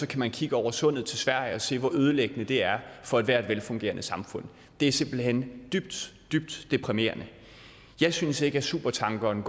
kan man kigge over sundet til sverige og se hvor ødelæggende det er for ethvert velfungerende samfund det er simpelt hen dybt dybt deprimerende jeg synes ikke at supertankeren